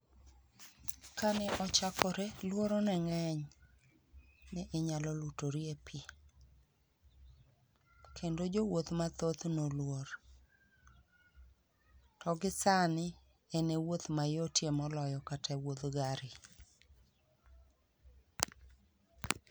Kane ochakore luoro ne ng'eny ni inyalo lutori e pii kendo jowuoth mathoth noluor. To gi sani, en e wuoth mayotie moloyo kata wuodh gari